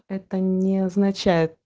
это не значит